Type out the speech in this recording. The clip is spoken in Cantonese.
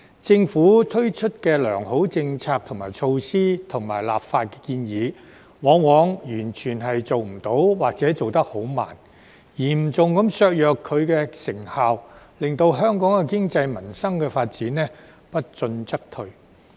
政府推出的良好政策、措施及立法建議，往往完全做不到或做得很慢，嚴重削弱其成效，令香港的經濟民生發展不進則退。